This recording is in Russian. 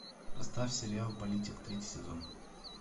поставь сериал политик третий сезон